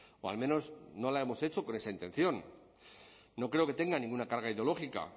o al menos no la hemos hecho con esa intención no creo que tenga ninguna carga ideológica